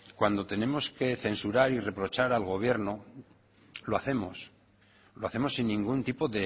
cuando tenemos que censurar y reprochar al gobierno lo hacemos lo hacemos sin ningún tipo